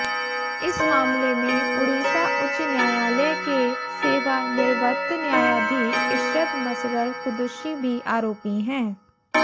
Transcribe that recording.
इस मामले में उड़ीसा उच्च न्यायालय के सेवानिवृत्त न्यायाधीश इशरत मसरर कुद्दुशी भी आरोपी हैं